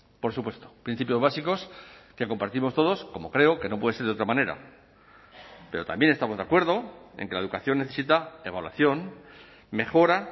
por supuesto principios básicos que compartimos todos como creo que no puede ser de otra manera pero también estamos de acuerdo en que la educación necesita evaluación mejora